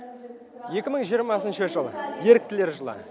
екі мың жиырмасыншы жыл еріктілер жылы